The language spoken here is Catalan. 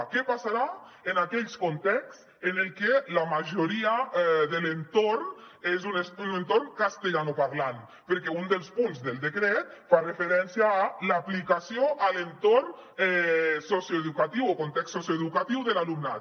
què passarà en aquell context en el que la majoria de l’entorn és un entorn castellanoparlant perquè un dels punts del decret fa referència a l’aplicació a l’entorn socioeducatiu o context socioeducatiu de l’alumnat